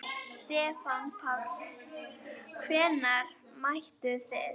Stefán Páll: Hvenær mættuð þið?